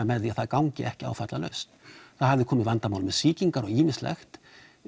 með því að það gangi ekki áfallalaust það hafði komið upp vandamál með sýkingar og ýmislegt